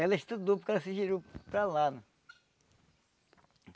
Ela estudou porque ela se girou para lá.